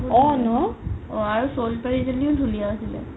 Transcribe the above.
অ ন সোণপৰি জনিও বহুত ধুনীয়া আছিলে